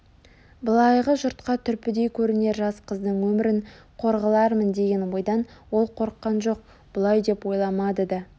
былайғы жұртқа түрпідей көрінер жас қыздың өмірін қор қылармын деген ойдан ол қорыққан жоқ бұлай деп ойламады да